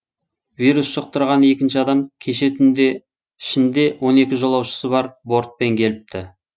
вирус жұқтырған екінші адам кеше түнде ішінде он екі жолаушысы бар бортпен келіпті